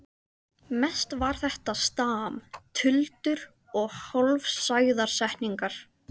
Mest var þetta stam, tuldur og hálfsagðar setningar.